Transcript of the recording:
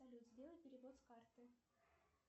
салют сделай перевод с карты